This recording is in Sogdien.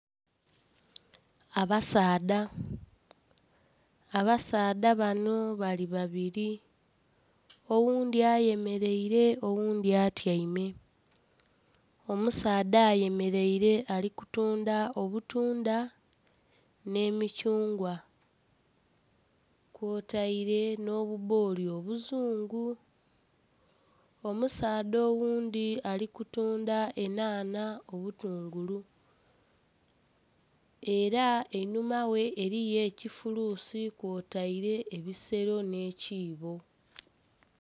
Abasaadha, abasaadha banho bali babiri oghundhi ayemereire oghundhi atyaime. Omusaadha ayemereire ali kutundha obutundha nhe mithungwa kwotaire nho bubbooli obuzungu, omusaadha oghundi ali kutundha enhanha, obutungulu era einhuma ghe eriyo ekifuluusi kwotaire ebisero nh'ekiibo.